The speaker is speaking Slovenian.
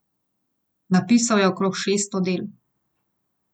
Napisal je okrog šeststo del.